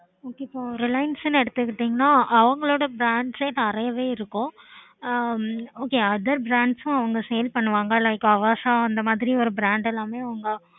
ok இப்போ reliance எடுத்துகிட்டீங்கன்னா அவங்களோட brands நெறய இருக்கும் ஹம் okother brands அவங்க sale பண்ணுவாங்க like avasa அந்த மாதிரி ஒரு brand எல்லாம்